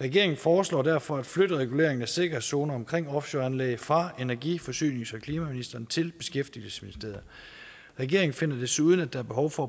regeringen foreslår derfor at flytte reguleringen af sikkerhedszoner omkring offshoreanlæg fra energi forsynings og klimaministeriet til beskæftigelsesministeriet regeringen finder desuden at der er behov for